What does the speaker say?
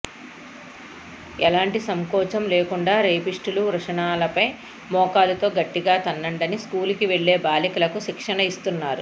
ఎలాంటి సంకోచం లేకుండా రేపిస్టుల వృషణాలపై మోకాలితో గట్టిగా తన్నండని స్కూలుకి వెళ్లే బాలికలకు శిక్షణ ఇస్తున్నారు